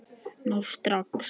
Nú strax!